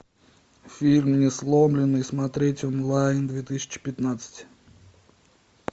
фильм несломленный смотреть онлайн две тысячи пятнадцать